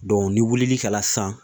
ni wilili kɛla sisan